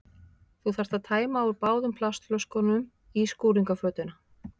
Þú þarft að tæma úr báðum plastflöskunum í skúringafötuna.